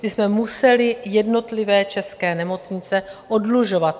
My jsme museli jednotlivé české nemocnice oddlužovat.